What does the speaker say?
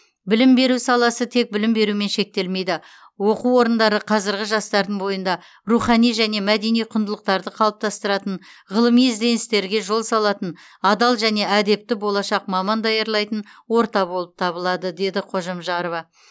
білім беру саласы тек білім берумен шектелмейді оқу орындары қазіргі жастардың бойында рухани және мәдени құндылықтарды қалыптастыратын ғылыми ізденістерге жол салатын адал және әдепті болашақ маман даярлайтын орта болып табылады деді қожамжарова